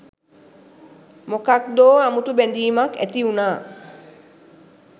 මොකක්දෝ අමුතු බැඳීමක් ඇතිවුණා